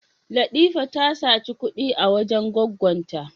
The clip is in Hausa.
Latifa ta saci kud'i a wajen gwaggon ta.